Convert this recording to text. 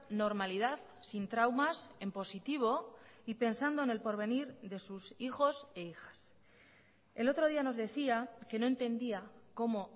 normalidad sin traumas en positivo y pensando en el porvenir de sus hijos e hijas el otro día nos decía que no entendía cómo